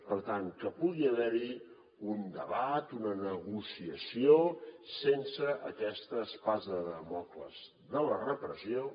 per tant que pugui haver hi un debat una negociació sense aquesta espasa de dàmocles de la repressió